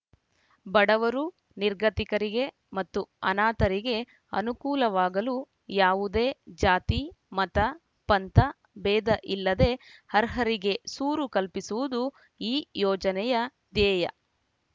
ಬಡವರು ನಿರ್ಗತಿಕರಿಗೆ ಮತ್ತು ಅನಾಥರಿಗೆ ಅನುಕೂಲವಾಗಲು ಯಾವುದೇ ಜಾತಿ ಮತ ಪಂಥ ಭೇದ ಇಲ್ಲದೆ ಅರ್ಹರಿಗೆ ಸೂರು ಕಲ್ಪಿಸುವುದು ಈ ಯೋಜನೆಯ ದ್ಯೇಯ